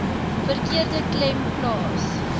verkeerde klem plaas